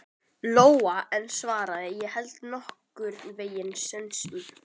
Lóa en svaraði: Ég held nokkurn veginn sönsum.